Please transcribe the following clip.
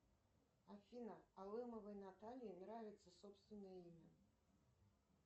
афина алымовой наталье нравится собственное имя